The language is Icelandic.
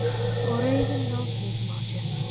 Og reiðina ná tökum á sér.